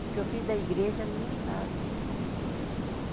Porque eu fiz da igreja a minha casa.